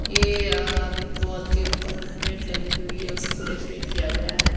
ये अ वॉल के ऊपर नेट लगी हुई है उसी को डेकोरेट किया गया एै ।